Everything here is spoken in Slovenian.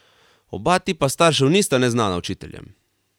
Oba tipa staršev nista neznana učiteljem.